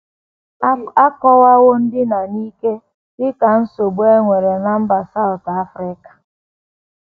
A kọwawo ndina n’ike dị ka nsogbu e nwere ná mba South Africa.